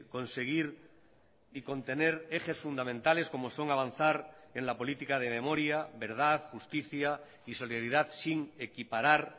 conseguir y contener ejes fundamentales como son avanzar en la política de memoria verdad justicia y solidaridad sin equiparar